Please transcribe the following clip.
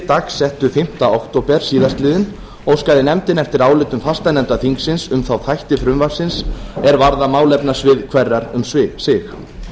dagsettu fimmta október síðastliðnum óskaði nefndin eftir álitum fastanefnda þingsins um þá þætti frumvarpsins er varða málefnasvið hverrar um sig